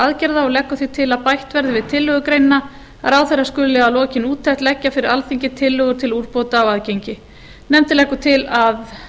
aðgerða og leggur því til að bætt verði við tillögugreinina að ráðherra skuli að lokinni úttekt leggja fyrir alþingi tillögur til úrbóta á aðgengi nefndin leggur til að